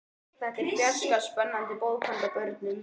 Þetta er fjarska spennandi bók handa börnum.